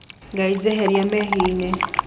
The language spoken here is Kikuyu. Ngai jeheria mehĩaĩnĩ